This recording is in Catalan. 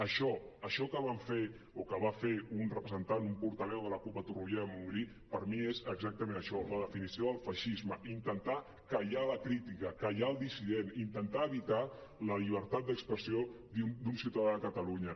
això això que va fer un representant un portaveu de la cup a torroella de montgrí per mi és exactament això la definició del feixisme intentar callar la crítica callar el dissident intentar evitar la llibertat d’expressió d’un ciutadà de catalunya